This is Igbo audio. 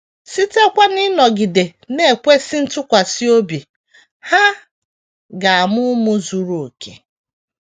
Sitekwa n’ịnọgide na - ekwesị ntụkwasị obi, ha ga - amụ ụmụ zuru okè.